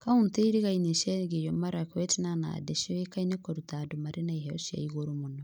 Kauntĩ irigainiĩ cia Elgeyo Marakwet na Nandi cioekaine kũruta andũ marĩ na iheo cia igũrũ mũno.